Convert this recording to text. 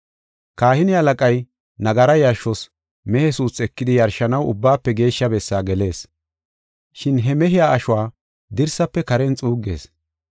Kahine halaqay nagara yarshos mehe suuthi ekidi yarshanaw Ubbaafe Geeshsha Bessaa gelees. Shin he mehiya ashuwa dirsaafe karen xuuggees.